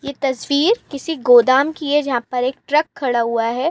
यह तस्वीर किसी गोदाम की है जहां पर एक ट्रक खड़ा हुआ है।